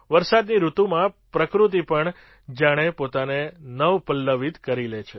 વરસાદની ઋતુમાં પ્રકૃતિ પણ જાણે પોતાને નવપલ્લવિત કરી લે છે